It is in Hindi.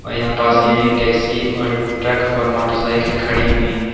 और यहां पास ही में एक टैक्सी और ट्रक और मोटरसाइकल खड़ी हुई हैं।